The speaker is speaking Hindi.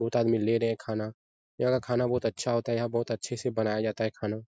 बहुत आदमी ले रहे हैं खाना। यहाँ का खाना बहुत अच्छा होता है। यहाँ बहुत अच्छे से बनाया जाता है खाना।